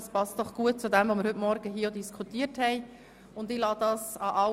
Das, was wir heute Morgen diskutiert haben, passt gerade gut dazu.